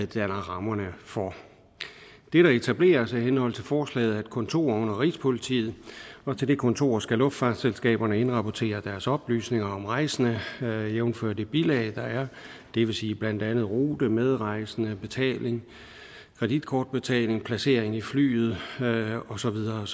danner rammerne for det der etableres i henhold til forslaget er et kontor under rigspolitiet og til det kontor skal luftfartsselskaberne indrapportere deres oplysninger om rejsende jævnfør det bilag der er det vil sige blandt andet rute medrejsende betaling kreditkortbetaling placering i flyet og så videre og